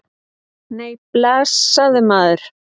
Nei, blessaður, maður.